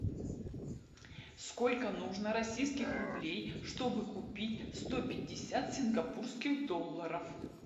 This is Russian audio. сколько нужно российских рублей чтобы купить сто пятьдесят сингапурских долларов